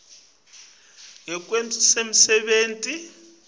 ngekwemsebenti